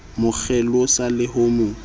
mo kgelosa le ho mo